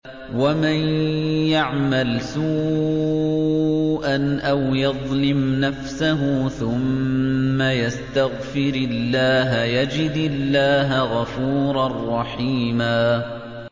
وَمَن يَعْمَلْ سُوءًا أَوْ يَظْلِمْ نَفْسَهُ ثُمَّ يَسْتَغْفِرِ اللَّهَ يَجِدِ اللَّهَ غَفُورًا رَّحِيمًا